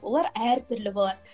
олар әртүрлі болады